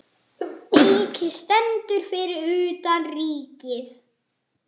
Eiki stendur fyrir utan Ríkið.